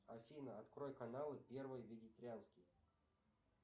афина открой канал первый вегетарианский